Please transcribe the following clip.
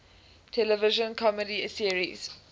television comedy series